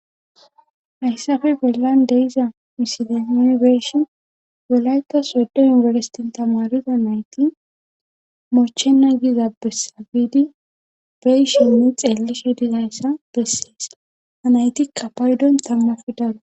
Hayssafe belan deiza misileme beeshi welayka sodo yinbelestin tamariza nayti moochena giza bessabiidi beyshinne xeelishe dizayssa bessees anaytikka paydon tammaf daro